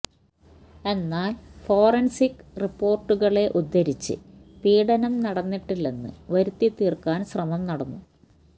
എന്നാല് ഫോറന്സിക് റിപ്പോര്ട്ടുകള്വരെ ഉദ്ധരിച്ച് പീഡനം നടന്നിട്ടില്ലെന്ന് വരുത്തിതീര്ക്കാന് ശ്രമം നടന്നു